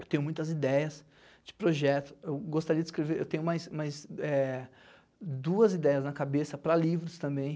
Eu tenho muitas ideias de projetos, eu gostaria de escrever, eu tenho mais mais duas ideias na cabeça para livros também.